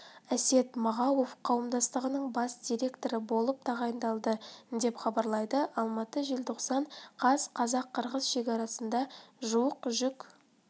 әсет мағауов қауымдастығының бас директоры болып тағайындалды деп хабарлайды алматы желтоқсан қаз қазақ-қырғыз шекарасында жуық жүк